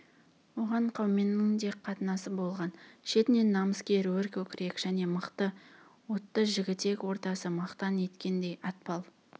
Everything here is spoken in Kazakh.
оған қауменнің де қатнасы болған шетінен намыскер өркөкірек және мықты отты жігітек ортасы мақтан еткендей атпал